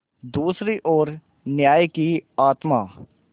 दूसरी ओर न्याय की आत्मा